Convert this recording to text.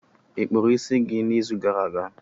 Ị kpụrụ isi gị n'izu gara aga?